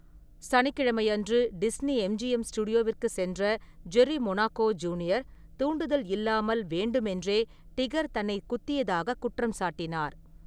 சனிக்கிழமையன்று Disney MGM ஸ்டுடியோவிற்குச் சென்ற Jerry Monaco junior, தூண்டுதல் இல்லாமல் வேண்டுமென்றே டிகர் தன்னை குத்தியதாகக் குற்றம் சாட்டினார்.